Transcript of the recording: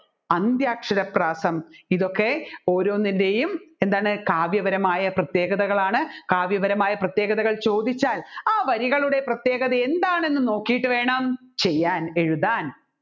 അന്ത്യാക്ഷര പ്രാസം ഇതൊക്കെ ഓരോന്നിൻറെയും എന്താണ് കാവ്യപരമായ പ്രത്യേകതകളാണ് കാവ്യപരമായ പ്രത്യേകതകൾ ചോദിച്ചാൽ ആ വരികളുടെ പ്രത്യേകത എന്താണെന്ന് നോക്കിയിട്ട് വേണം ചെയ്യാൻ എഴുതാൻ